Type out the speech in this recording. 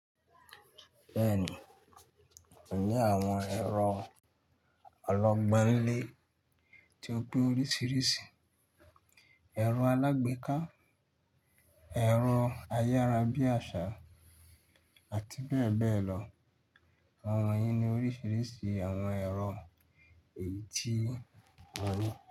Bẹ́ẹ̀ni, ó ní àwọn ẹ̀rọ ọlọ́gbọ́n lé tó pé oríṣìíríṣìí, ẹ̀rọ alágbèéká, ẹ̀rọ ayárabíàṣà àti bẹ́ẹ̀ bẹ́ẹ̀ lọ. Àwọn yìí ni oríṣìíríṣìí àwọn ẹ̀rọ èyí tí a ní.